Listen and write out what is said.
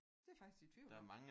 Det er jeg faktisk i tvivl om